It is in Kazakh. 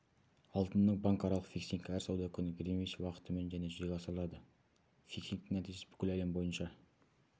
алтынның банкаралық фиксингі әр сауда күні гринвич уақытымен және жүзеге асырылады фиксингтің нәтижесі бүкіл әлем бойынша